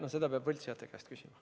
No seda peab võltsijate käest küsima.